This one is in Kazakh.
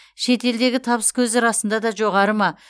шет елдегі табыс көзі расында да жоғары ма